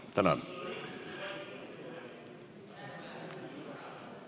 Tänan!